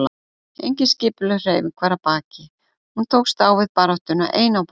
Engin skipulögð hreyfing var að baki, hún tókst á við baráttuna ein á báti.